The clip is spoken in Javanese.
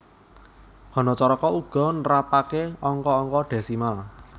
Hanacaraka uga nrapaké angka angka dhésimal